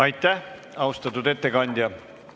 Aitäh, austatud ettekandja!